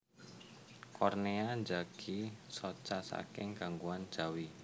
Kornea njagi soca saking gangguan jawi